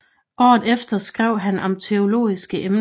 Året efter skrev han om teologiske emner